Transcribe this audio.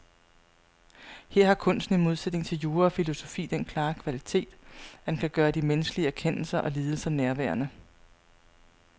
Her har kunsten i modsætning til jura og filosofi den klare kvalitet, at den kan gøre de menneskelige erkendelser og lidelser nærværende.